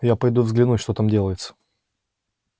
я пойду взглянуть что там делается